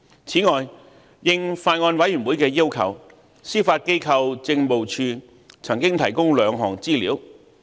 此外，應法案委員會的要求，司法機構政務處曾經提供兩項資料。